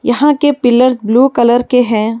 यहां के pillars blue colour के हैं।